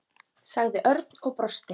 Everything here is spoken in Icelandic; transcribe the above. sagði Örn og brosti.